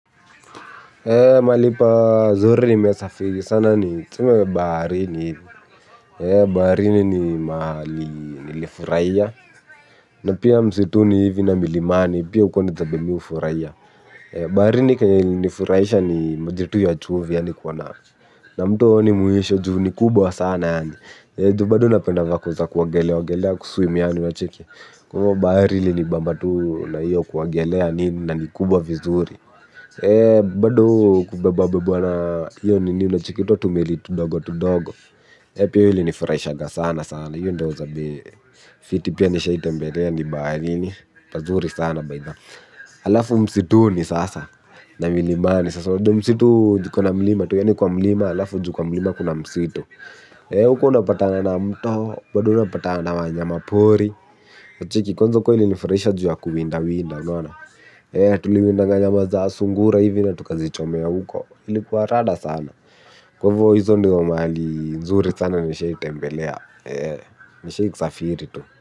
Mahali pazuri nimesafiri sana ni tuseme baharini. Baharini ni mahali nilifurahia. Na pia msituni hivi na milimani pia huko ni zabe mihufurahia. Baharini kenye ilinifurahisha ni maji tu ya chumvi yani kuona. Na mtu haoni mwisho juu ni kubwa sana. Juu bado napenda vako za kuongelea ogelea kuswim yani unacheki. Kwa hivyo bahari ilinibamba tu na hiyo kuogelea nini na ni kubwa vizuri. Bado kubeba bebwa na hiyo nini unacheki huto tumeli tudogo tudogo. Hiyo pia ilinifurahishaga sana sana. Hiyo ndo zabe fiti pia nisha tembelea ni baharini pazuri sana baitha halafu msituni sasa na milimani. Sasa wajua msitu ziko na mlima. Tu yaani kwa mlima alafu juu kwa mlima kuna msitu. Huko unapatana na mto. Bado unapatana na wanyama pori. Cheki kwanza huko ilinifurahisha juu ya kuwindawinda unaona. Tuliwindga nyama za sungura hivi na tukazichomea huko ilikuwa rada sana, kwa hivyo hizo ndo mahali nzuri sana nimeshai tembelea, nishai kusafiri tu.